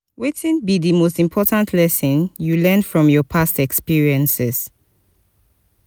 wetin be di most important lesson you learn from your past experiences?